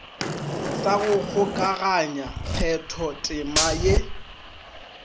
sa go kgokaganya kgathotema ya